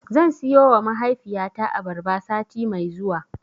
Zan siyowa mahaifiyata abarba sati mai zuwa.